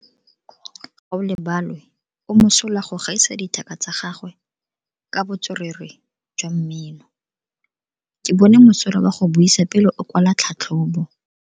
Gaolebalwe o mosola go gaisa dithaka tsa gagwe ka botswerere jwa mmino. Ke bone mosola wa go buisa pele o kwala tlhatlhobo.